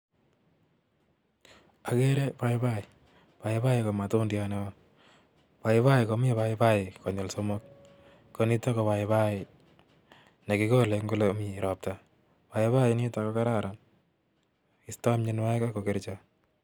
agere paipai , paipai ko matundiat neo, paiapi komii paipai konyil somok, konitak koo paip[ai negegole ole mii roptaa, paipai nitak ko kararan ago istai mogonywet